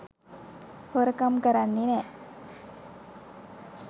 හොරකම් කරන්නෙ නෑ.